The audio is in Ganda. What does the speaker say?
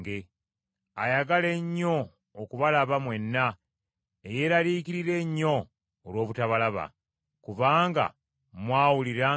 ayagala ennyo okubalaba, mwenna, eyeeraliikirira ennyo olw’obutabalaba, kubanga mwawulira nga yalwala.